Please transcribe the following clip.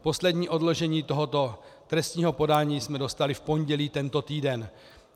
Poslední odložení tohoto trestního podání jsme dostali v pondělí tento týden.